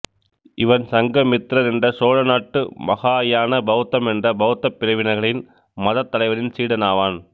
இவன் சங்கமித்ரர் என்ற சோழ நாட்டு மகாயான பௌத்தம் என்ற பௌத்தப் பிரிவினர்களின் மதத்தலைவரின் சீடனாவான்